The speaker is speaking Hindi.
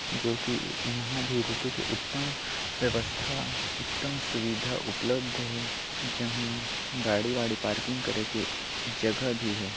--जो की यंहा भी रुके के उत्तम व्यवस्था उत्तम सुविधा उपलब्ध है जंहा गाड़ी वाडी पार्किंग करे के जगह भी हे।